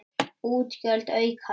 Útgjöld aukast!